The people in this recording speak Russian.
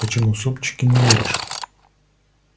почему супчики не варишь